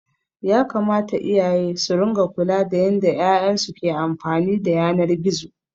Yakamata iyaye su ringa kula da yanda 'ya'yan su ke amfani da yanar gizo.